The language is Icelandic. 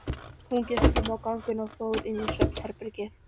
Hún gekk fram á ganginn og fór inn í svefnherbergið.